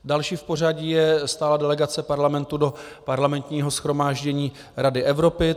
Další v pořadí je stálá delegace Parlamentu do Parlamentního shromáždění Rady Evropy.